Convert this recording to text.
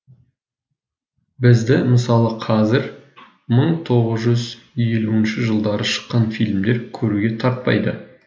бізді мысалы қазір мың тоғыз жүз елуінші жылдары шыққан фильмдер көруге тартпайды